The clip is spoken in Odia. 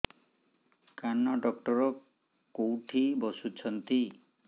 କାନ ଡକ୍ଟର କୋଉଠି ବସୁଛନ୍ତି